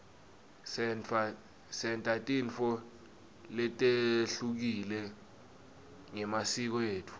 senta tintfo letehlukile ngemasiko etfu